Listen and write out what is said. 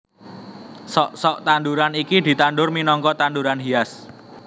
Sok sok tanduran iki ditandur minangka tanduran hias